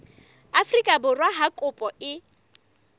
afrika borwa ha kopo e